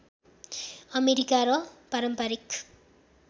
America र पारम्परिक